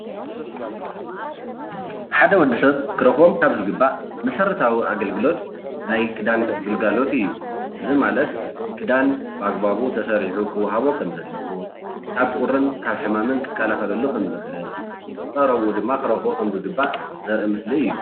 ሐደ ወዲ ሰብ ክረክቦም ካብ ዝግባእ መሰረታዊ ኣገልግሎት ናይ ክዳን ግልጋሎት እዩ፡፡ እዚ ማለት ክዳን ብኣግባቡ ከም ዘለዎ፣ ካብ ቁርን ካብ ሕማምን ዘርኢ ምስሊ እዩ፡፡